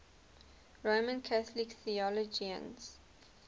roman catholic theologians